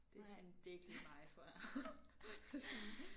Det sådan det er ikke lige mig tror jeg sådan